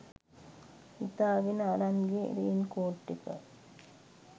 හිතාගෙන අරන් ගිය රේන්කෝට් ටික.